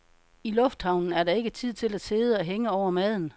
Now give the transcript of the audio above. I lufthavnen er der ikke tid til at sidde og hænge over maden.